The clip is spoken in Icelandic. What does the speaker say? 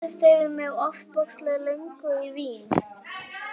Allt í einu hvolfdist yfir mig ofboðsleg löngun í vín.